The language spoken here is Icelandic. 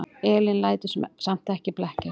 Elín lætur samt ekki blekkjast.